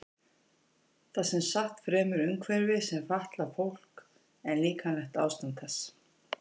Það er sem sagt fremur umhverfið sem fatlar fólk en líkamlegt ástand þess.